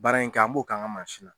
Baara in kɛ an b'o k'an ka mansi na.